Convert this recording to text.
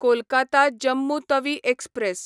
Kolkata Jammu Tawi express